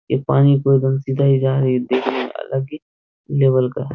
ये पानी को एकदम सीधा ही जा रही है देखने में अलग ही लेवल का है।